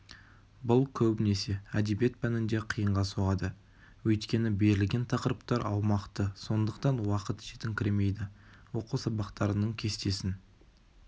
бұл көбінесе әдебиет пәнінде қиынға соғады өйткені берілген тақырыптар аумақты сондықтан уақыт жетіңкіремейді оқу сабақтарының кестесін